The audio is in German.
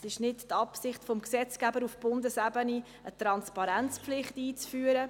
Es ist nicht die Absicht des Gesetzgebers auf Bundesebene, eine Transparenzpflicht einzuführen.